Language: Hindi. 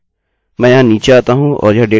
मैं यहाँ नीचे आती हूँ और यह डेटा जमा करती हूँ